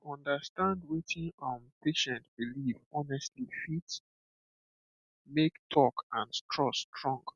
to understand wetin um patient believe honestly fit make talk and trust strong